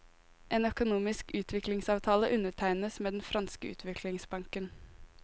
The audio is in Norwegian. En økonomisk utviklingsavtale undertegnes med den franske utviklingsbanken.